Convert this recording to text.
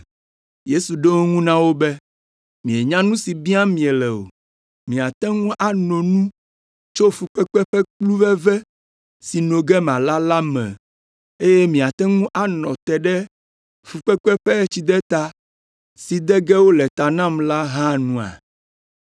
Yesu ɖo eŋu na wo be, “Mienya nu si biam miele o. Miate ŋu ano nu tso fukpekpe ƒe kplu veve si no ge mala la me, eye miate ŋu anɔ te ɖe fukpekpe ƒe tsideta si de ge wole ta nam la hã nua?”